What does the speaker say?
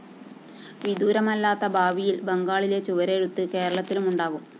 വിദൂരമല്ലാത്ത ഭാവിയില്‍ ബംഗാളിലെ ചുവരെഴുത്ത് കേരളത്തിലുമുണ്ടാകും